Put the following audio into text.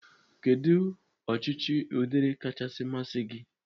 Kedụ ọchịchị ụdịrị kachasị masị gi?